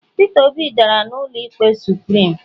peter obi dara n'ụlọ ikpe supirim